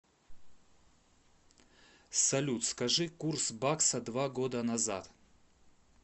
салют скажи курс бакса два года назад